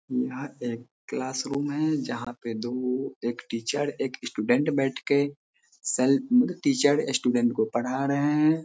यहाँ पे class room है जहां पे दो-एक टीचर और एक स्टूडेंट बैठ के सेल टीचर स्टूडेंट को पढ़ा रहे हैं |